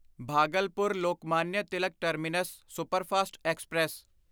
Bhagalpur Lokmanya Tilak terminus superfast express